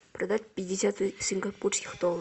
продать пятьдесят сингапурских долларов